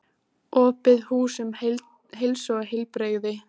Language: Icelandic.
Opið hús um heilsu og heilbrigði